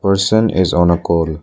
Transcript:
Person is on a call.